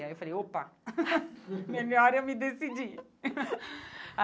Aí eu falei, opa, melhor eu me decidir.